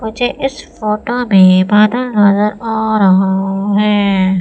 मुझे इस फोटो में बादल नजर आ रहा है।